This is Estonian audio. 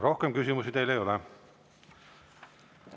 Rohkem küsimusi teile ei ole.